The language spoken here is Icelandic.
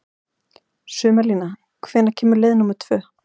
Sumarlína, hvenær kemur leið númer tvö?